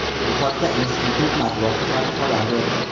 Bu haqda institut matbuot xizmati xabar berdi.